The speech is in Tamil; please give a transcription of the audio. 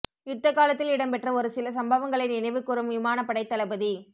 யுத்த காலத்தில் இடம்பெற்ற ஒரு சில சம்பவங்களை நினைவுகூரும் விமானப்படைத் தளபதி